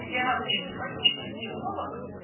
я вообще не классический психолог